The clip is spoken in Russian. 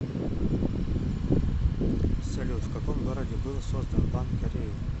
салют в каком городе был создан банк кореи